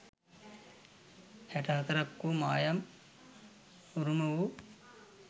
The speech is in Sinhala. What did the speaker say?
හැට හතරක් වූ මායම් උරුම වූ